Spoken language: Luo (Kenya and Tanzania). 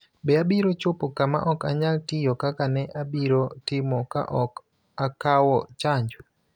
Be abiro chopo kama ok anyal tiyo kaka ne abiro timo ka ok akawo chanjo?